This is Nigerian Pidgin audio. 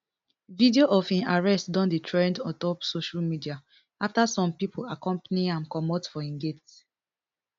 video of im arrest don dey trend ontop social media afta some pipo accompany am comot for im gate